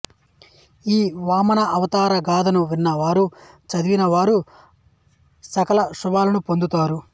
ఈ వామనావతార గాథను విన్న వారు చదివిన వారు సకల శుభాలను పొందుతారు